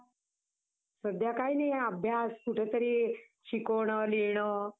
अरे असूदे ना! पण आता तुम्ही अं चौऱ्यान्नव आणलाय, त्याची party कधी देणार आम्हांला मग?